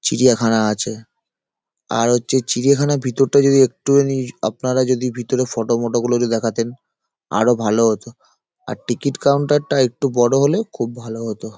চিড়িয়াখানা আছে | আর হচ্ছে চিড়িয়াখানার ভিতরটা যদি একটুখানি আপনারা যদি ভিতরে ফটো মটো গুলো যদি দেখাতেন আরো ভালো হতো | আর টিকিট কাউন্টারটা একটু বড় হলে খুব ভালো হতো |